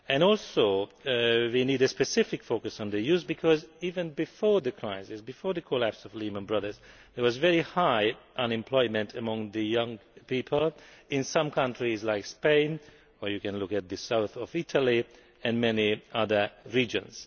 Also, we need a specific focus on youth because, even before the crisis, before the collapse of Lehman Brothers, there was very high unemployment among young people in some countries like Spain, or you can look at the south of Italy and many other regions.